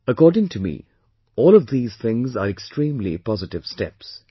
According to me all of these things are extremely positive steps